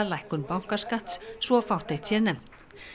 lækkun bankaskatts svo fátt eitt sé nefnt